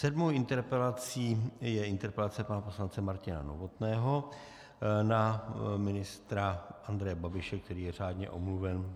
Sedmou interpelací je interpelace pana poslance Martina Novotného na ministra Andreje Babiše, který je řádně omluven.